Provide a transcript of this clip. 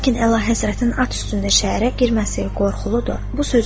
Lakin Əlahəzrətin at üstündə şəhərə girməsi qorxuludur.